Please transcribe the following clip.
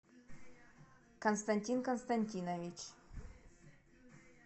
константин константинович